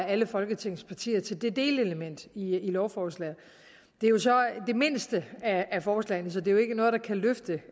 alle folketingets partier til det delelement i lovforslaget det er jo så det mindste af forslagene så det er ikke noget der kan løfte